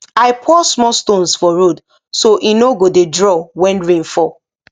i pour small stones for road so e no go dey draw when rain fall